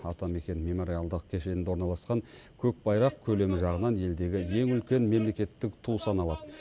атамекен мемориалдық кешенінде орналасқан көк байрақ көлемі жағынан елдегі ең үлкен мемлекеттік ту саналады